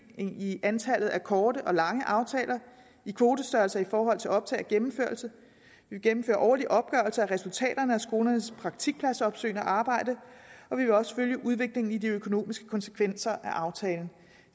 i antallet af korte og lange aftaler i kvotestørrelser i forhold til optag og gennemførelse vi gennemfører årlige opgørelser af resultaterne af skolernes praktikpladsopsøgende arbejde og vi vil også følge udviklingen i de økonomiske konsekvenser af aftalen